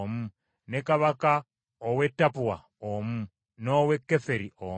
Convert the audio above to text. ne kabaka ow’e Tappua omu, n’owe Keferi omu,